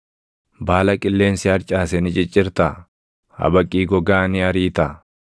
Baala qilleensi harcaase ni ciccirtaa? Habaqii gogaa ni ariitaa?